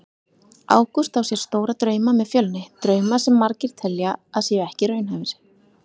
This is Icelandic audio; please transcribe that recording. Ágúst á sér stóra drauma með Fjölni, drauma sem margir telja að séu ekki raunhæfir.